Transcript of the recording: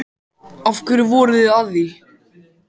Af hverju voruð þið að því?